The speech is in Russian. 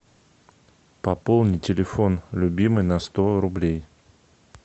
пополни телефон любимой на сто рублей